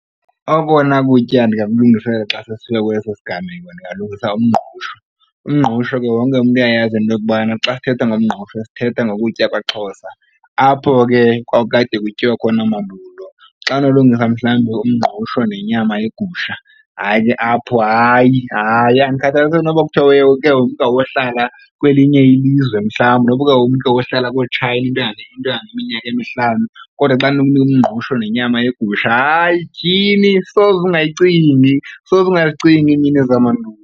Okona kutya ndingakulungiselela xa sesifika kweso siganeko ndingalungisa umngqusho. Umngqusho ke wonke umntu uyayazi into yokubana xa sithetha ngomngqusho sithetha ngokutya kwaXhosa apho ke kwakukade kutyiwa khona mandulo. Xa unolungisa mhlawumbi umngqusho nenyama yegusha, hayi ke apho, hayi, hayi andikhathaliseki noba kuthiwa yohlala kwelinye ilizwe mhlawumbi nokuba umntu uyohlala kooTshayina into engangeminyaka emihlanu kodwa xa ndinokunikwa umngqusho nenyama yegusha, hayi, tyhini soze ungayicingi soze ungazicingi iimini zamandulo.